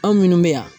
Anw minnu bɛ yan